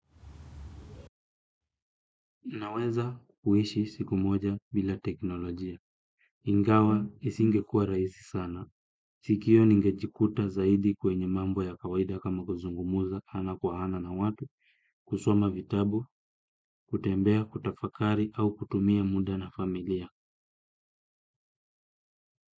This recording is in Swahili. Naweza kuishi siku moja bila teknolojia. Ingawa isingekuwa raisi sana. Sikio ningejikuta zaidi kwenye mambo ya kawaida kama kuzungumza ana kwa ana na watu, kusoma vitabu, kutembea, kutafakari au kutumia muda na familia.